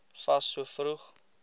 fas so vroeg